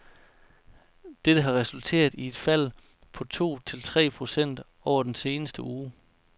Dette har resulteret i et fald på to til tre procent over den seneste uge.